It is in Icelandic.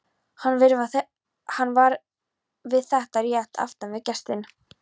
Hann var við þetta rétt aftan við gestinn.